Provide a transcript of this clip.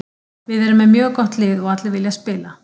Við erum með mjög gott lið og allir vilja spila.